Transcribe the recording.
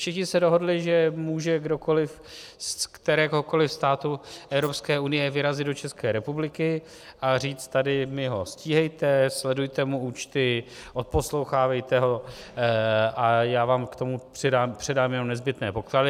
Všichni se dohodli, že může kdokoli z kteréhokoli státu Evropské unie vyrazit do České republiky a říct: tady mi ho stíhejte, sledujte mu účty, odposlouchávejte ho a já vám k tomu předám jenom nezbytné podklady.